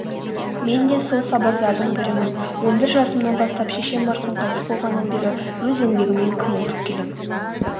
мен де сол сабаздардың бірімін он бір жасымнан бастап шешем марқұм қайтыс болғаннан бері өз еңбегіммен күнелтіп келем